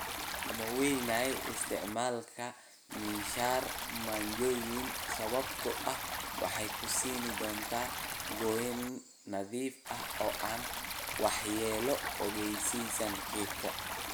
"Laamo waaweyn, isticmaal miinshaar manjooyin, sababtoo ah waxay ku siin doontaa gooyn nadiif ah oo aan waxyeello u geysan geedka."